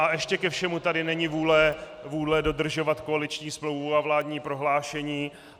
A ještě ke všemu tady není vůle dodržovat koaliční smlouvu a vládní prohlášení.